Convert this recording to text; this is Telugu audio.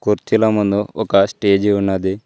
కుర్చీల ముందు ఒక స్టేజి ఉన్నాది.